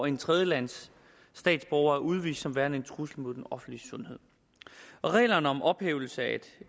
en tredjelandsstatsborger er udvist som værende en trussel mod den offentlige sundhed reglerne om ophævelse af et